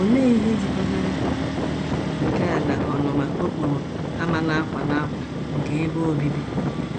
Olee ihe jikọtara nke a na ọnụma okporo ámá nakwa nakwa nke ebe obibi?